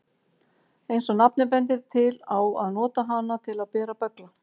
Eins og nafnið bendir til á að nota hana til að bera böggla.